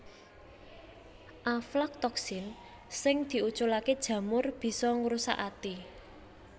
Aflatoksin sing diuculaké jamur bisa ngrusak ati